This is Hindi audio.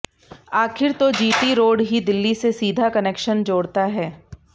आखिर तो जी टी रोड ही दिल्ली से सीधा कनेक्शन जोड़ता है